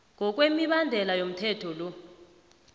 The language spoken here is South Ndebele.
ngokwemibandela yomthetho lo